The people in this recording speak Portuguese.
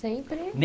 Sempre?